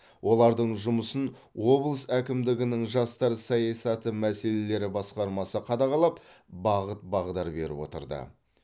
олардың жұмысын облыс әкімдігінің жастар саясаты мәселелері басқармасы қадағалап бағыт бағдар беріп отырды